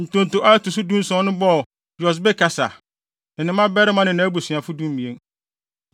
Ntonto a ɛto so dunson no bɔɔ Yosbekasa, ne ne mmabarima ne nʼabusuafo (12)